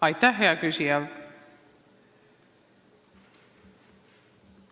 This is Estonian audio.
Aitäh, hea küsija!